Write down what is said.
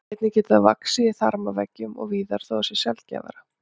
Einnig getur það vaxið í þarmaveggjum og víðar þó að það sé sjaldgæfara.